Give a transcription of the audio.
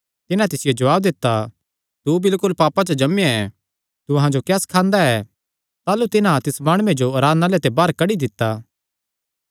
तिन्हां तिसियो जवाब दित्ता तू बिलकुल पापां च जम्मेया ऐ तू अहां जो क्या सखांदा ऐ ताह़लू तिन्हां तिस माणुये जो आराधनालय ते बाहर कड्डी दित्ता